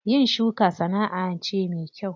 Yin shuka sana'a ce me kyau.